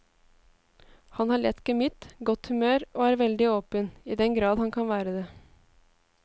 Han har lett gemytt, godt humør og er veldig åpen, i den grad han kan være det.